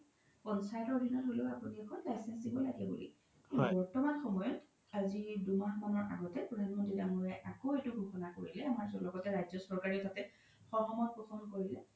পঞ্চায়তৰ আধিনত হ্'লেও আপোনি এখন license দিব লাগে বুলি বৰ্তমান সয়ত আজি দুমাহ মানৰ আগতে প্ৰধানমন্ত্ৰী দাঙৰীয়াই আকৌ এইতো ঘোষণা কৰিলে আমাৰ লগতে যাতে ৰাজ্য চৰকাৰে সহমত ঘোষণ কৰিলে